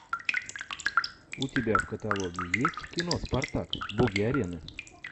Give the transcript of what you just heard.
у тебя в каталоге есть кино спартак боги арены